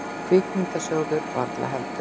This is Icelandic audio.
Kvikmyndasjóður varla heldur.